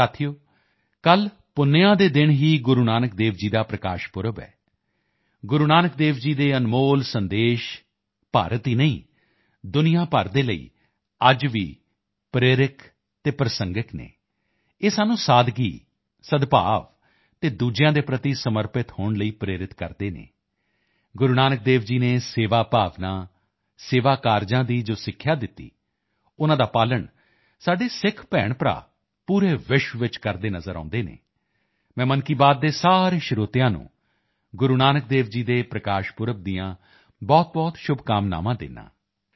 ਸਾਥੀਓ ਕੱਲ੍ਹ ਪੁੰਨਿਆ ਦੇ ਦਿਨ ਹੀ ਗੁਰੂ ਨਾਨਕ ਦੇਵ ਜੀ ਦਾ ਪ੍ਰਕਾਸ਼ ਪਰਵ ਹੈ ਗੁਰੂ ਨਾਨਕ ਦੇਵ ਜੀ ਦੇ ਅਨਮੋਲ ਸੰਦੇਸ਼ ਭਾਰਤ ਹੀ ਨਹੀਂ ਦੁਨੀਆ ਭਰ ਦੇ ਲਈ ਅੱਜ ਭੀ ਪ੍ਰੇਰਕ ਅਤੇ ਪ੍ਰਸੰਗਕ ਹਨ ਇਹ ਸਾਨੂੰ ਸਾਦਗੀ ਸਦਭਾਵ ਅਤੇ ਦੂਸਰਿਆਂ ਦੇ ਪ੍ਰਤੀ ਸਮਰਪਿਤ ਹੋਣ ਲਈ ਪ੍ਰੇਰਿਤ ਕਰਦੇ ਹਨ ਗੁਰੂ ਨਾਨਕ ਦੇਵ ਜੀ ਨੇ ਸੇਵਾ ਭਾਵਨਾ ਸੇਵਾ ਕਾਰਜਾਂ ਦੀ ਜੋ ਸਿੱਖਿਆ ਦਿੱਤੀ ਉਨ੍ਹਾਂ ਦਾ ਪਾਲਣ ਸਾਡੇ ਸਿੱਖ ਭੈਣਭਰਾ ਪੂਰੇ ਵਿਸ਼ਵ ਵਿੱਚ ਕਰਦੇ ਨਜ਼ਰ ਆਉਂਦੇ ਹਨ ਮੈਂ ਮਨ ਕੀ ਬਾਤ ਦੇ ਸਾਰੇ ਸਰੋਤਿਆਂ ਨੂੰ ਗੁਰੂ ਨਾਨਕ ਦੇਵ ਜੀ ਦੇ ਪ੍ਰਕਾਸ਼ ਪਰਵ ਦੀਆਂ ਬਹੁਤਬਹੁਤ ਸ਼ੁਭਕਾਮਨਾਵਾਂ ਦਿੰਦਾ ਹਾਂ